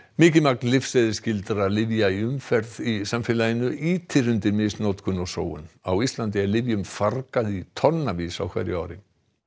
mikið magn lyfseðilsskyldra lyfja í umferð í samfélaginu ýtir undir misnotkun og sóun á Íslandi er lyfjum fargað í tonnavís á hverju ári